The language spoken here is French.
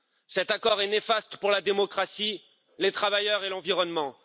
Cet accord est néfaste pour la démocratie, les travailleurs et l'environnement.